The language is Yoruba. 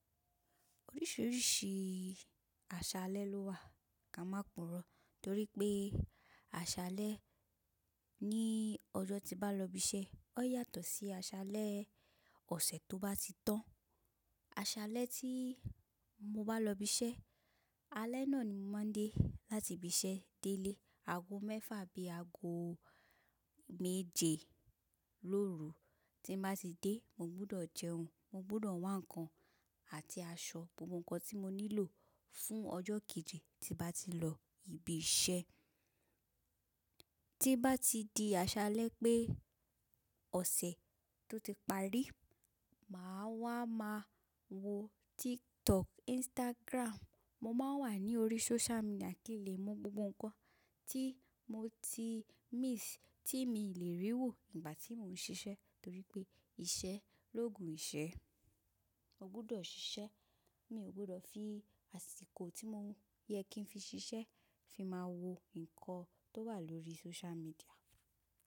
Oríṣiríṣi àṣálẹ́ ló wà ká máa pùrọ̀ torí pé àṣálẹ́ ní ọjọ́ tí bá lọ ibi iṣẹ́ ó yàtọ̀ sí àṣálẹ́ ọ̀sẹ̀ tó bá ti tán. Àṣálẹ́ tí mo bá lọ ibi iṣẹ́, alẹ́ náà ni mo máa ń dé láti ibi iṣẹ́ délé. Ago mẹ́fà bí ago méje lóru. Tí bá ti dé, mo gbọdọ̀ jẹun, mo gbọdọ̀ wá ǹkan àti aṣọ, gbogbo ǹkan tí mo nílò fún ọjọ́ kejì tí bá ti lọ ibi iṣẹ́. Tí bá ti di àṣálẹ́ pé ọ̀sẹ̀ tó ti parí, màá wá máa wo TikTok, Instagram. Mo máa wà ní orí social media kí n lè mọ gbogbo ǹkan tí mo ti miss, tí mi lè rí wò ìgbà tí mò ń ṣiṣẹ́ torí pé iṣẹ́ lógun ìṣẹ́. O gbọdọ̀ ṣiṣẹ́. Mi ò gbọdọ̀ fi àsìkò tí mo yẹ kí n fi ṣiṣẹ́ fi máa wo ǹkan tó wà lórí social media.